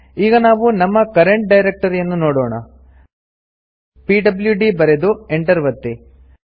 ಈಗ ನಾವು ನಮ್ಮ ಕರೆಂಟ್ ಡೈರೆಕ್ಟರಿಯನ್ನು ನೋಡೋಣ ಪಿಡ್ಲ್ಯೂಡಿ ಬರೆದು Enter ಒತ್ತಿ